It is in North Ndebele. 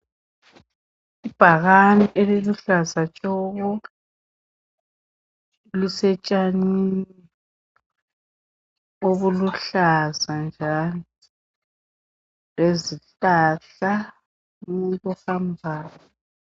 Ibhakane eliluhlaza tshoko lisetshanini obuluhlaza njalo lezihlahla umuntu ohambayo.